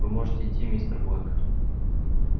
вы можете идти мистер блэк